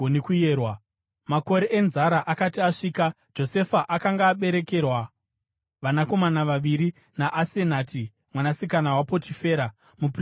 Makore enzara asati asvika, Josefa akanga aberekerwa vanakomana vaviri naAsenati mwanasikana waPotifera, muprista waOni.